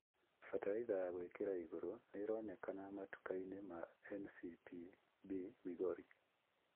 Bataraitha ya gũĩkĩra igũrũ nĩĩroneka matuka-inĩ ma NCPB Migori